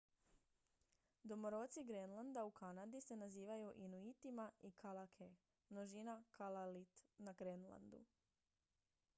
domoroci grenlanda u kanadi se nazivaju inuitima i kalaalleq množina kalaallit na grenlandu